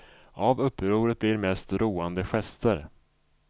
Av upproret blir mest roande gester.